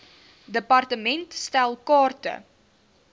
department stel kaarte